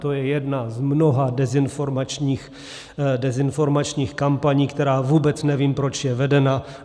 To je jedna z mnoha dezinformačních kampaní, která vůbec nevím, proč je vedena.